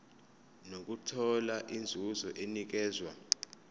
nokuthola inzuzo enikezwa